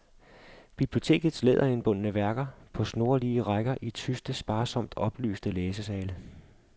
Biblioteks læderindbundne værker, på snorlige rækker i tyste, sparsomt oplyste læsesale.